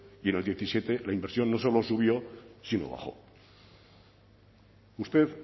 y en el diecisiete la inversión no solo subió sino bajo usted